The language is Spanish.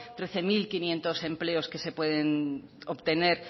trece mil quinientos empleos que se pueden obtener